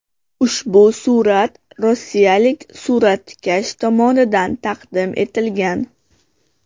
Ushbu surat rossiyalik suratkash tomonidan taqdim etilgan.